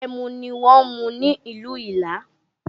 Ẹmu ni wọn ń mu ní ìlú Ìlá